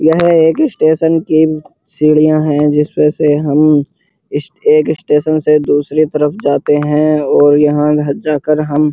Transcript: यह एक स्टेशन की सीढ़ियाँ हैं जिसपे से हम इस एक स्टेशन से दूसरे तरफ जाते हैं और यहाँ जाकर हम --